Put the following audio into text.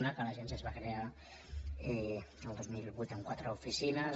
una que l’agència es va crear el dos mil vuit amb quatre oficines